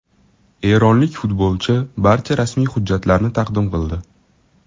Eronlik futbolchi barcha rasmiy hujjatlarni taqdim qildi.